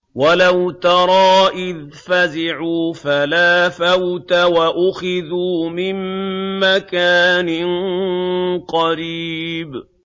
وَلَوْ تَرَىٰ إِذْ فَزِعُوا فَلَا فَوْتَ وَأُخِذُوا مِن مَّكَانٍ قَرِيبٍ